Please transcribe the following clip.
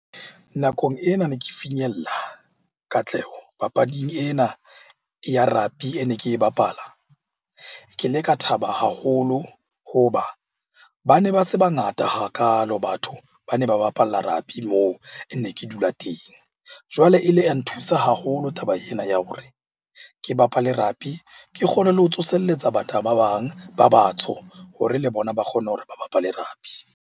Nakong ena ne ke finyella katleho papading ena ya rugby e ne ke e bapala. Ke le ka thaba haholo hoba ba ne ba se ba ngata hakalo batho ba ne ba bapalla moo e ne ke dula teng. Jwale e ile ya nthusa haholo taba ena ya hore ke bapale rugby, ke kgone le ho tsoselletsa ba bang ba batsho hore le bona ba kgone hore ba bapale rugby.